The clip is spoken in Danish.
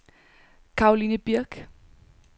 Caroline Birch